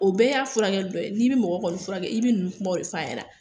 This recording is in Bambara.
O bɛɛ y'a furakɛli dɔ ye n'i bi mɔgɔ kɔni furakɛ i bi nunnu kumaw ne f'a ɲɛna